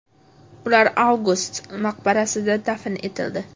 Ular Avgust maqbarasida dafn etildi.